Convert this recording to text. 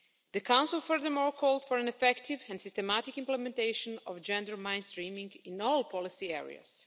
The Council, furthermore, called for an effective and systematic implementation of gender mainstreaming in all policy areas.